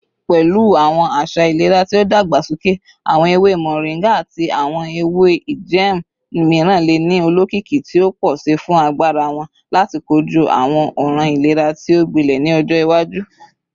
Pẹlu awọn aṣa ilera ti o dagbasoke, awọn ewe moringa ati awọn ewe ijẹẹmu miiran le ni olokiki ti o pọ si fun agbara wọn lati koju awọn ọran ilera ti o gbilẹ ni ọjọ iwaju.